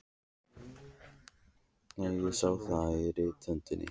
Nei, ég sá það á rithöndinni.